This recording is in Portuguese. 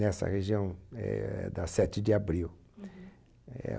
nessa região é da Sete de Abril é